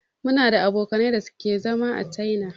Muna da abokanai da ke zama a china.